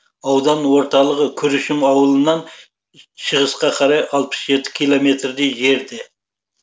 аудан орталығы күршім ауылынан шығысқа қарай алпыс жеті километрдей жерде